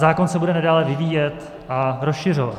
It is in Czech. Zákon se bude nadále vyvíjet a rozšiřovat.